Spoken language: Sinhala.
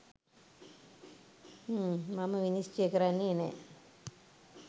හ්ම්! මම විනිශ්චය කරන්නෙ නෑ.